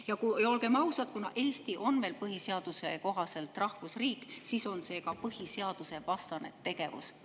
Ja olgem ausad, kuna Eesti on põhiseaduse kohaselt veel rahvusriik, siis on see ka põhiseadusvastane tegevus.